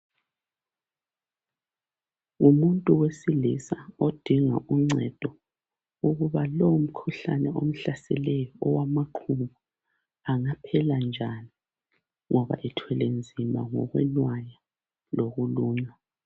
Ngumuntu wesilisa odinga uncedo ukuba lo mkhuhlane omhlaseleyo owamaqhubu ungaphela njani ngoba ethwele nzima ngokwenaya lokulunywa.